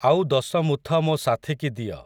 ଆଉ ଦଶ ମୁଥ ମୋ ସାଥିକି ଦିଅ ।